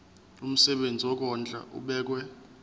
umsebenzi wokondla ubekwa